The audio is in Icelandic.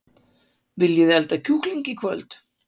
Viljiði elda kjúkling í kvöld?